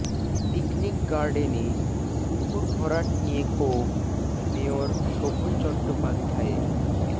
picnic গার্ডেনে পুকুর ভরাট নিয়ে ক্ষোভ মেয়র শোভন চট্টোপাধ্যায়ের